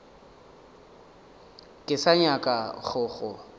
ke sa nyaka go go